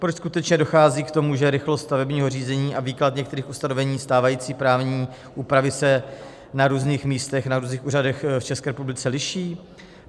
Proč skutečně dochází k tomu, že rychlost stavebního řízení a výklad některých ustanovení stávající právní úpravy se na různých místech, na různých úřadech v České republice liší?